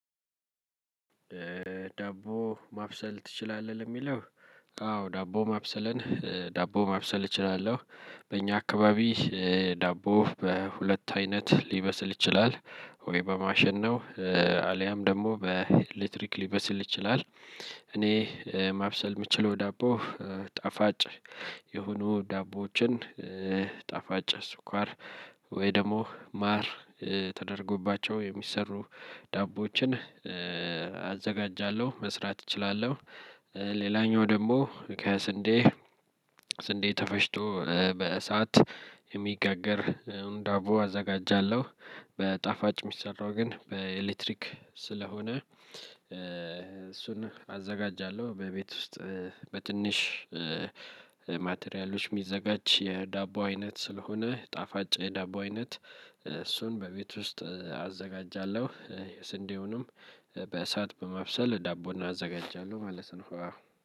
ዳቦ ማብሰል ትችላለህ ለሚለው? አዎ ዳቦ ማብሰለን ዳቦ ማብሰል እችላለሁ። በእኛ አካባቢ ዳቦ በሁለት አይነት ሊበስል ይችላል ወይ በማሽን ነው አልያም ደግሞ በኤሌክትሪክ ሊበስል ይችላል። እኔ ማብሰል የምችለው ዳቦ ጣፋጭ የሆኑ ዳቦዎችን ጣፋጭ ስኳር ወይ ደግሞ ማር ተደርጎባቸው የሚሰሩ ዳቦዎችን አዘጋጃለሁ መስራት እችላለሁ። ሌላኛው ደግሞ ከስንዴ ስንዴ ተፈጭቶ በእሳት የሚጋገር ዳቦ አዘጋጃለሁ። በጣፋጭ የሚሰራው ግን በኤሌክትሪክ ስለሆነ እሱን አዘጋጃለሁ በቤት ውስጥ በትንሽ ማቴሪያሎች የሚዘጋጅ የዳቦ አይነት ስለሆነ ጣፋጭ የዳቦ አይነት እሱን በቤት ውስጥ አዘጋጃለሁ። የስንዴውንም በእሳት በማብሰል ዳቦውን አዘጋጃለሁ ማለት ነው።